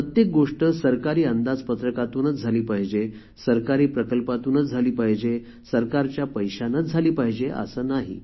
प्रत्येक गोष्ट सरकारी अंदाजपत्रकातूनच झाली पहिजे सरकारी प्रकल्पातूनच झाली पाहिजे सरकारच्या पैशानेच झाली पाहिजे असे नाही